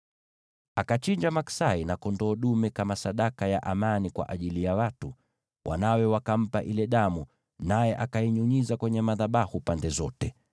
Akachinja maksai na kondoo dume kama sadaka ya amani kwa ajili ya watu. Wanawe Aroni wakampa ile damu, naye akainyunyiza kwenye madhabahu pande zote.